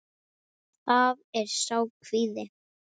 Það er sá kvíði.